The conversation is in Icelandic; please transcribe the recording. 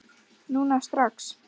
Núna, strax!